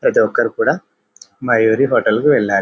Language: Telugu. ప్రతి ఒక్కరు కూడా మయూరీ హోటల్ కీ వెళ్లరు.